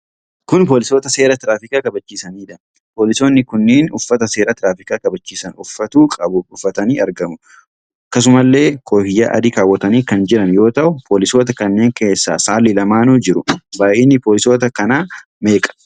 Kun poolisoota seera tiraafikaa kabachiisaniidha. Poolisoonni kunnuun uffata seera tiraafikaa kabachiisaan uffatuu qabu uffatanii argamu. Akkasumallee koofiyyaa adii kaawwatanii kan jiran yoo ta'u, poolisoota kanneen keessa saalli lamaanuu jiru. Baay'inni poolisoota kanaa meeqadha?